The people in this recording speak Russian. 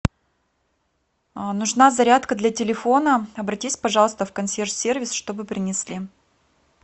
нужна зарядка для телефона обратись пожалуйста в консьерж сервис чтобы принесли